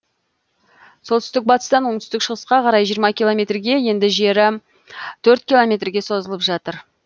солтүстік батыстан оңтүстік шығысқа қарай жиырма километрге енді жері төрт километрге созылып жатыр